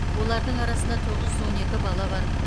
олардың арасында тоғыз жүз он екі бала бар